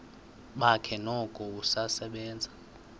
bakhe noko usasebenza